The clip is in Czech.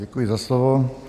Děkuji za slovo.